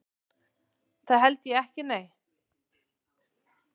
Það held ég ekki nei.